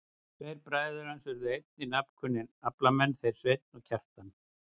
Tveir bræður hans urðu einnig nafnkunnir aflamenn, þeir Sveinn og Kjartan.